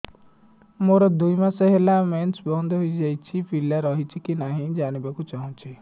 ମୋର ଦୁଇ ମାସ ହେଲା ମେନ୍ସ ବନ୍ଦ ହେଇ ଯାଇଛି ପିଲା ରହିଛି କି ନାହିଁ ଜାଣିବା କୁ ଚାହୁଁଛି